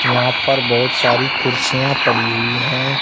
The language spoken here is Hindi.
यहां पर बहुत सारी कुर्सियां पड़ी हुई है।